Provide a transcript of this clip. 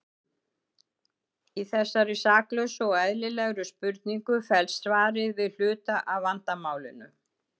Í þessari saklausu og eðlilegri spurningu felst svarið við hluta af vandamálinu.